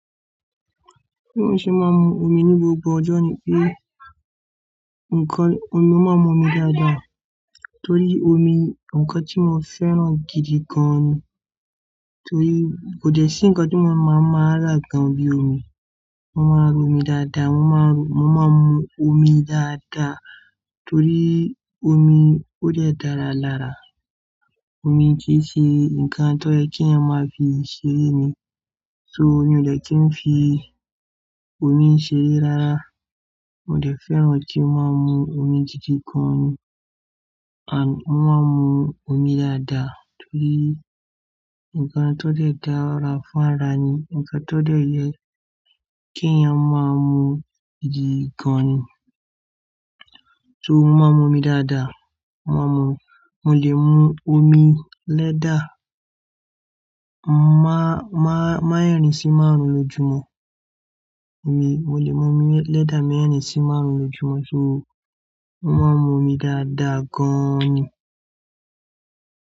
Bí mo ṣe máa ń mu omi ní gbogbo ọjọ́ ni pé nkan, mo máa ń mu omi dáadáa. Torí omi nkan tí mo fẹ́ràn gidi gan ni. Torí kò dẹ̀ sí nkan tí mo máa ń máa rà gan bíi omi. Mo máa ń mu omi dáadáa, mo máa ń mu, mo máa ń mu omi dáadáa. Torí omi ó dẹ̀ dára lára. Omi kìi ṣe ǹkan tó yẹ kí ẹeyan máa fi ṣeré ni. So mi o dẹ̀ kí n fi omi ṣeré rárá. Mo dẹ̀ fẹ́ràn kí n máa mu omi gidi gan ni. À, mo máa ń mu omi dáadáa torí ǹkan tó dẹ̀ dára fún ara ni, ǹkan tó dẹ̀ yẹ kí ẹeyan máa mu gidi gan ni. So mo máa ń mu omi dáadáa. Mo máa ń mu, mo lè mu omi lẹ́ẹ̀dà má meerìn sí márùn-ún lójúmọ́. Omi, mo lè mu omi lẹ́ẹ̀dà meerìn-sí márùn-ún lójúmọ́. So mo máa ń mu omi dáadáa gan ni.